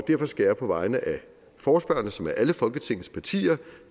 derfor skal jeg på vegne af forespørgerne som er alle folketingets partier